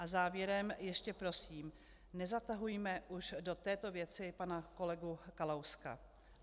A závěrem ještě prosím: Nezatahujme už do této věci pana kolegu Kalouska.